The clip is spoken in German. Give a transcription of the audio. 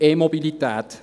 E-Mobilität.